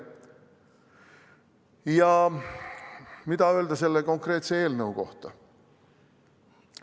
Ja mida öelda selle konkreetse eelnõu kohta?